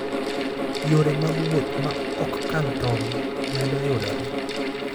Yore mag wuoth ma ok kal tong' medo yudore.